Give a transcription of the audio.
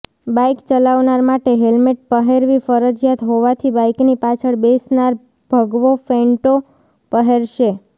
bike ચલાવનાર માટે helmet પહેરવી ફરજિયાત હોવાથી બાઇકની પાછળ બેસનાર ભગવો ફેંટો પહેરશે